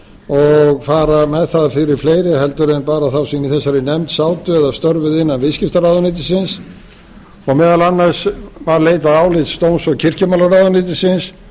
og fara með það fyrir fleiri en bara þá sem í þessari nefnd sátu eða störfuðu inna viðskiptaráðuneytisins og meðal annars var leitað álits dóms og kirkjumálaráðuneytisins